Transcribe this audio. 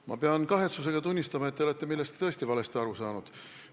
Ma pean kahetsusega tunnistama, et te olete millestki tõesti valesti aru saanud.